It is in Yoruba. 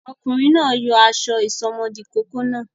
Ọkùnrin náà yọ aṣọ ìsomọ́ọ̀dí ìkókó náà.